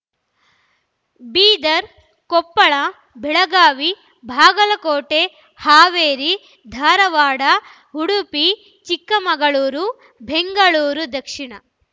Bidar Koppal Belagavi Bagalkot Haveri Dharwad Udupi Chikkamagaluru Bengaluru Dakshina